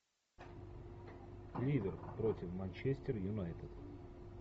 ливер против манчестер юнайтед